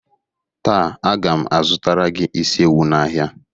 Taa a ga m azụtara gị isi ewu n'ahịa